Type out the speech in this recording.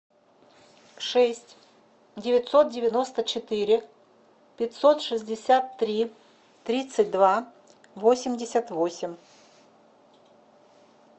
шесть девятьсот девяносто четыре пятьсот шестьдесят три тридцать два восемьдесят восемь